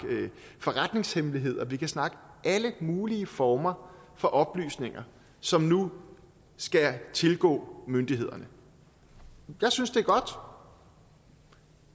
forretningshemmeligheder vi kan snakke alle mulige former for oplysninger som nu skal tilgå myndighederne jeg synes det er godt